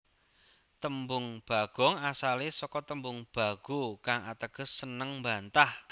Tembung Bagong asale saka tembung Bagho kang ateges seneng mbantah